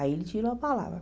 Aí ele tirou a palavra.